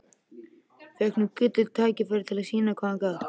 Fékk nú gullið tækifæri til að sýna hvað hann gat.